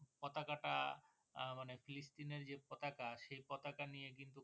পতাকাটা আহ মানে পিলিস্তিন এর যে পতাকা সে পতাকা নিয়ে কিন্তু